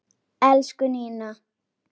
Elsku Nína.